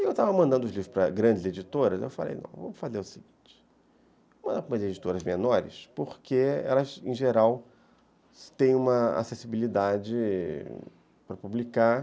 Eu estava mandando os livros para grandes editoras ai eu falei, vamos fazer o seguinte, vamos mandar para as editoras menores, porque elas, em geral, têm uma acessibilidade para publicar.